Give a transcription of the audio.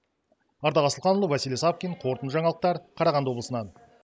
ардақ асылханұлы василий савкин қорытынды жаңалықтар қарағанды облысынан